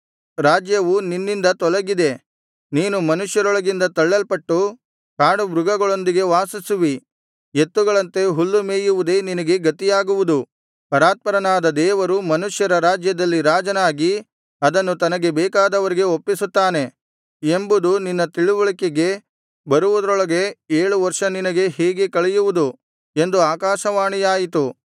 ರಾಜ್ಯವು ನಿನ್ನಿಂದ ತೊಲಗಿದೆ ನೀನು ಮನುಷ್ಯರೊಳಗಿಂದ ತಳ್ಳಲ್ಪಟ್ಟು ಕಾಡು ಮೃಗಗಳೊಂದಿಗೆ ವಾಸಿಸುವಿ ಎತ್ತುಗಳಂತೆ ಹುಲ್ಲು ಮೇಯುವುದೇ ನಿನಗೆ ಗತಿಯಾಗುವುದು ಪರಾತ್ಪರನಾದ ದೇವರು ಮನುಷ್ಯರ ರಾಜ್ಯದಲ್ಲಿ ರಾಜನಾಗಿ ಅದನ್ನು ತನಗೆ ಬೇಕಾದವರಿಗೆ ಒಪ್ಪಿಸುತ್ತಾನೆ ಎಂಬುದು ನಿನ್ನ ತಿಳಿವಳಿಕೆಗೆ ಬರುವುದರೊಳಗೆ ಏಳು ವರ್ಷ ನಿನಗೆ ಹೀಗೆ ಕಳೆಯುವುದು ಎಂದು ಆಕಾಶವಾಣಿಯಾಯಿತು